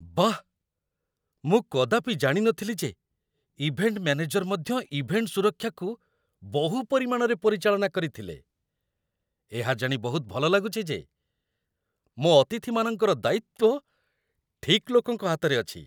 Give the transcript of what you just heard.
ବାଃ, ମୁଁ କଦାପି ଜାଣିନଥିଲି ଯେ ଇଭେଣ୍ଟ୍ ମ୍ୟାନେଜର୍ ମଧ୍ୟ ଇଭେଣ୍ଟ୍ ସୁରକ୍ଷାକୁ ବହୁ ପରିମାଣରେ ପରିଚାଳନା କରିଥିଲେ! ଏହା ଜାଣି ବହୁତ ଭଲ ଲାଗୁଛି ଯେ ମୋ ଅତିଥିମାନଙ୍କର ଦାୟିତ୍ୱ ଠିକ୍ ଲୋକଙ୍କ ହାତରେ ଅଛି।